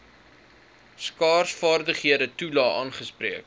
skaarsvaardighede toelae aangespreek